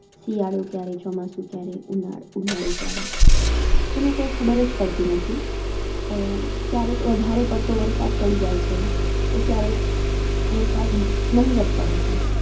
શિયાળો ક્યારે, ચોમાસું ક્યારે, ઉનાળ ઉનાળો ક્યારે, એનું કઈં ખબરજ પડતી નથી. અ ક્યારેક વધારે પડતો વરસાદ પડી જાય છે, તો ક્યારેક વરસાદ નહીવત પડે છે.